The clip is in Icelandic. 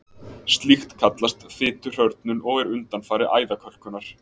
Slíkt kallast fituhrörnun og er undanfari æðakölkunar.